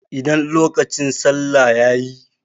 Idan lokacin salla yayi.